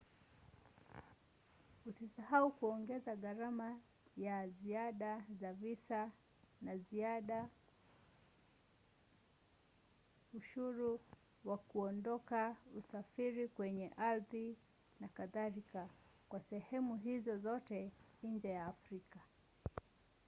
usisahau kuongeza gharama za ziada za visa za ziada ushuru wa kuondoka usafiri kwenye ardhi n.k. kwa sehemu hizo zote nje ya afrika